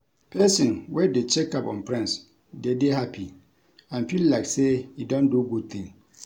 Persin wey de check up on friends de dey happy and feel like say e don do good thing